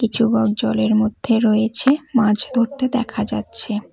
কিছু বক জলের মধ্যে রয়েছে মাছ ধরতে দেখা যাচ্ছে।